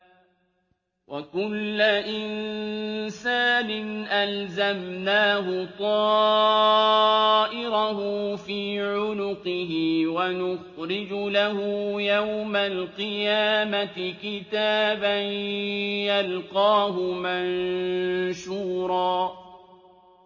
وَكُلَّ إِنسَانٍ أَلْزَمْنَاهُ طَائِرَهُ فِي عُنُقِهِ ۖ وَنُخْرِجُ لَهُ يَوْمَ الْقِيَامَةِ كِتَابًا يَلْقَاهُ مَنشُورًا